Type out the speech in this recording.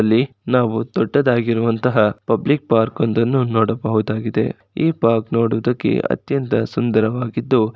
ಇಲ್ಲಿ ನಾವು ದೊಡ್ಡದಾಗಿರುವಂತಹ ಪಬ್ಲಿಕ್ ಪಾರ್ಕ್ ಒಂದನ್ನು ನೋಡಬಹುದಾಗಿದೆ. ಈ ಪಾರ್ಕ್ ನೋಡುವುದಕ್ಕೆ ಅತ್ಯಂತ ಸುಂದರವಾಗಿದ್ದು --